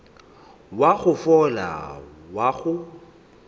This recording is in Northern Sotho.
wa go fola wa go